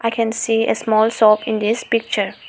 I can see a small shop in this picture.